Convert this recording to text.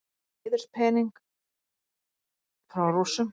Fékk heiðurspening frá Rússum